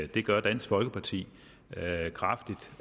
det gør dansk folkeparti